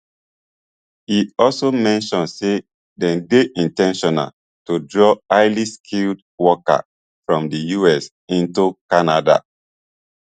e also mention say dem dey in ten tional to draw highly skilled workers from di us into canada